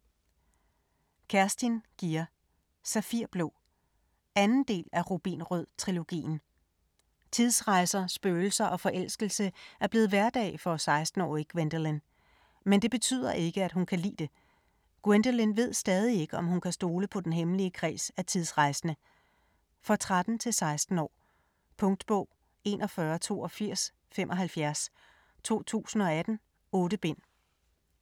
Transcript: Gier, Kerstin: Safirblå 2. del af Rubinrød-trilogien. Tidsrejser, spøgelser og forelskelse er blevet hverdag for 16-årige Gwendolyn. Men det betyder ikke at hun kan lide det. Gwendolyn ved stadig ikke, om hun kan stole på den hemmelige kreds af tidsrejsende. For 13-16 år. Punktbog 418275 2018. 8 bind.